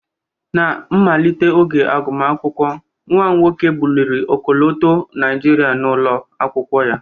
Ná mmalite oge agụmakwụkwọ, nwa m nwoke buliri ọkọlọtọ Naijiria n'ụlọ akwụkwọ ya